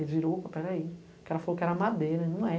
Ele virou, peraí, o cara falou que era madeira, não é.